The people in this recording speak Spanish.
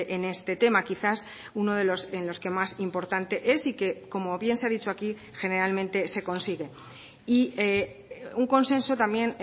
en este tema quizás uno en los que más importante es y que como bien se ha dicho aquí generalmente se consigue y un consenso también